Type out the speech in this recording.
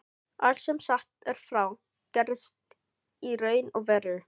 Allt sem sagt er frá, gerðist í raun og veru.